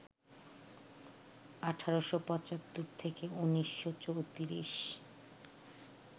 ১৮৭৫-১৯৩৪